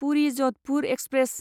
Puri Jodhpur express